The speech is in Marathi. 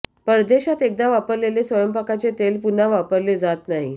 परदेशात एकदा वापरलेले स्वयंपाकाचे तेल पुन्हा वापरले जात नाही